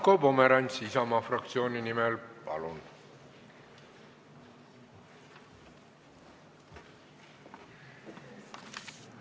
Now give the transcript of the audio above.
Marko Pomerants Isamaa fraktsiooni nimel, palun!